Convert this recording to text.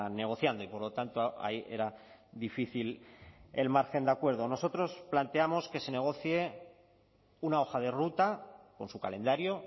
negociando y por lo tanto ahí era difícil el margen de acuerdo nosotros planteamos que se negocie una hoja de ruta con su calendario